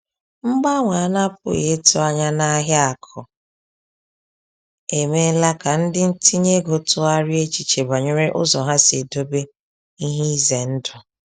Mgbanwe a na-apụghị ịtụ anya n’ahịa akụ emeela ka ndị ntinye ego tụgharịa echiche banyere ụzọ ha si edobe ihe ize ndụ.